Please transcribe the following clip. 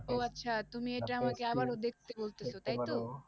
ও আচ্ছা, তুমি আমাকে আবারো দেখতে বলতেছো